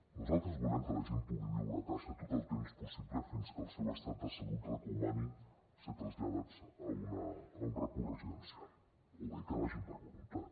nosaltres volem que la gent pugui viure a casa tot el temps possible fins que el seu estat de salut recomani ser traslladats a un recurs residencial o bé que hi vagin per voluntat